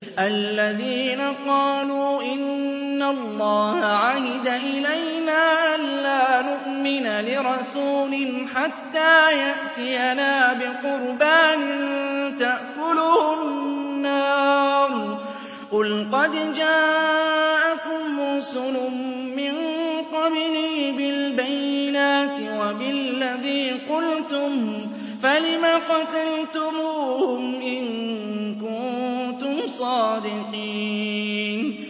الَّذِينَ قَالُوا إِنَّ اللَّهَ عَهِدَ إِلَيْنَا أَلَّا نُؤْمِنَ لِرَسُولٍ حَتَّىٰ يَأْتِيَنَا بِقُرْبَانٍ تَأْكُلُهُ النَّارُ ۗ قُلْ قَدْ جَاءَكُمْ رُسُلٌ مِّن قَبْلِي بِالْبَيِّنَاتِ وَبِالَّذِي قُلْتُمْ فَلِمَ قَتَلْتُمُوهُمْ إِن كُنتُمْ صَادِقِينَ